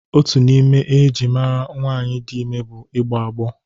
Otu n'ime ihe eji ama nwaanyị dị ime bụ igbọ agbọ.